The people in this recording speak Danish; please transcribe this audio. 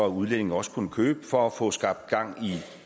at udlændinge også kunne købe for at få skabt gang